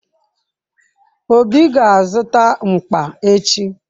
Obi ga-azụta mkpa echi.